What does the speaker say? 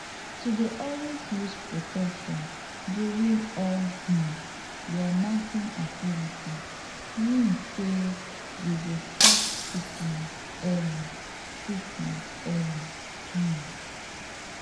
to dey always use protection during all um your knacking activities means say you go start treatment early treatment early um